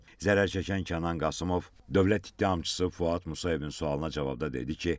Zərər çəkən Kənan Qasımov dövlət ittihamçısı Fuad Musayevin sualına cavabda dedi ki,